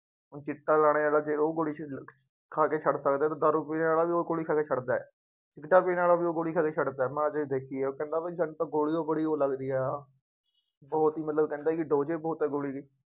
ਹੁਣ ਚਿੱਟਾਂ ਲਾਉਣੇ ਵਾਲਾ ਫੇਰ ਉਹ condition ਖਾ ਕੇ ਛੱਡਦਾ, ਹੁਣ ਦਾਰੂ ਪੀਣ ਵਾਲਾ ਵੀ ਉਹ ਗੋਲੀ ਖਾ ਕੇ ਛੱਡਦਾ ਹੈ, ਸਿਗਰਟਾਂ ਪੀਣ ਵਾਲਾ ਵੀ ਉਹ ਗੋ਼ਲੀ ਖਾ ਕੇ ਛੱਡਦਾ, ਮੈਂ ਆਹ ਚੀਜ਼ ਦੇਖੀ ਹੈ ਉਹ ਕਹਿੰਦਾ ਸਾਨੂੰ ਤਾਂ ਗੋਲੀ ਉਹ ਗੋਲੀ ਲੱਗਦੀ ਹੈ, ਉਹ ਚੀਜ਼ ਮਤਲਬ ਕਹਿੰਦਾ ਕਿ dose ਹੀ ਬਹੁਤ ਹੈ ਗੋ਼ਲੀ ਦੀ।